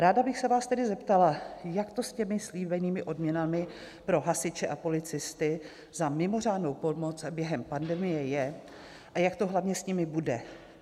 Ráda bych se vás tedy zeptala, jak to s těmi slíbenými odměnami pro hasiče a policisty za mimořádnou pomoc během pandemie je, a jak to hlavně s nimi bude.